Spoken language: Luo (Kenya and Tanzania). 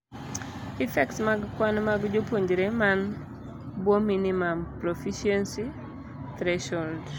Effects mag kwan mag jopuonjre man bwoo minimum proficiency threshold